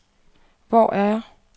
Hvor er jeg